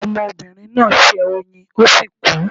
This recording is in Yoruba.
Omobìnrin náà ṣẹ́ oyín ó sì kú